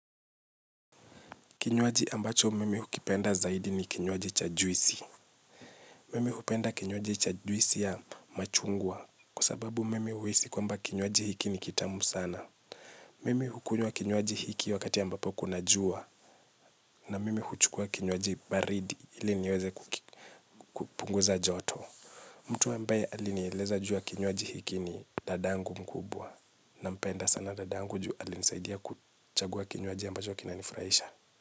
Kinywaji ambacho mimi hukipenda zaidi ni kinywaji cha juisi. Mimi hukipenda kinywaji cha juisi ya machungwa kwa sababu mimi huhisi kwamba kinywaji hiki ni kitamu sana. Mimi hukunywa kinywaji hiki wakati ambapo kuna jua na mimi huchukua kinywaji baridi ili niweze kupunguza joto. Mtu ambaye alinieleza ju ya kinywaji hiki ni dadangu mkubwa nampenda sana dadangu ju alinisaidia kuchagua kinywaji ambacho kina nifurahisha.